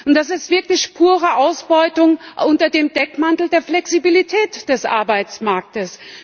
Das ist wirklich pure Ausbeutung unter dem Deckmantel der Flexibilität des Arbeitsmarktes.